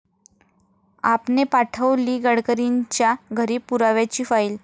आप'ने पाठवली गडकरींच्या घरी पुराव्याची फाईल